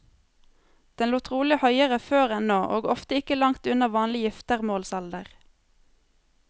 Den lå trolig høyere før enn nå, og ofte ikke langt unna vanlig giftermålsalder.